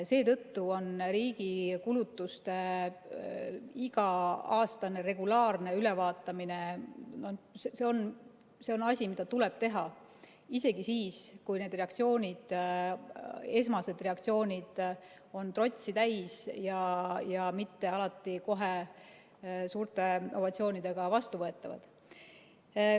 Seetõttu on riigi kulutuste iga-aastane regulaarne ülevaatamine asi, mida tuleb teha isegi siis, kui esmased reaktsioonid on trotsi täis ja mitte alati kõike kohe suurte ovatsioonidega vastu ei võeta.